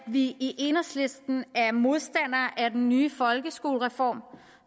vi i enhedslisten er modstandere af den nye folkeskolereform